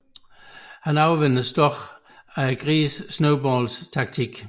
Han overvindes dog af grisen Snowballs taktik